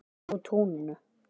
Á túninu.